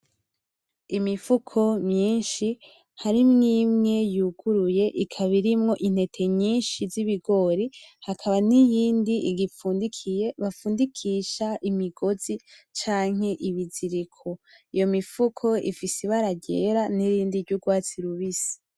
Imifuko myinshi harimwi imwe yuguruye ikaba irimwo intete nyinshi z’ibigori hakaba n’iyindi ifundikiye, bafundikisha imigozi canke ibiziriko. Iyo mifuko ifise ibara ryera n’irindi ry’urwatsi rubisi.